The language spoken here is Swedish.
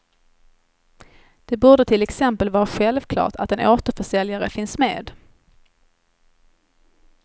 Det borde till exempel vara självklart att en återförsäljare finns med.